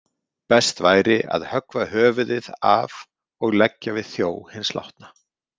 Best væri að höggva höfuðið af og leggja við þjó hins látna.